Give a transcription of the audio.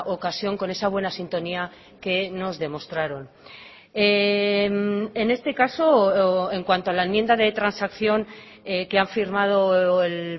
ocasión con esa buena sintonía que nos demostraron en este caso en cuanto a la enmienda de transacción que han firmado el